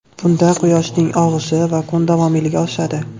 Bunda quyoshning og‘ishi va kun davomiyligi oshadi.